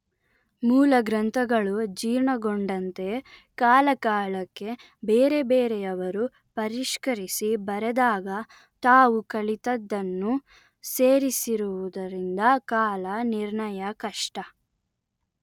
ಮೂಲ ಗ್ರಂಥಗಳು ಜೀರ್ಣಗೊಂಡಂತೆ ಕಾಲ ಕಾಲಕ್ಕೆ ಬೇರೆ ಬೇರೆಯವರು ಪರಿಷ್ಕರಿಸಿ ಬರೆದಾಗ ತಾವು ಕಲಿತದ್ದನ್ನು ಸೇರಿಸಿರುವುದರಿಂದ ಕಾಲ ನಿರ್ಣಯ ಕಷ್ಟ